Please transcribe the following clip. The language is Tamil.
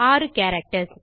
6 கேரக்டர்ஸ்